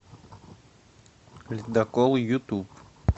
ледокол ютуб